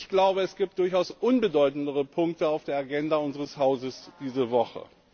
Ich glaube, es gibt durchaus unbedeutendere Punkte auf der Agenda unseres Hauses diese Woche.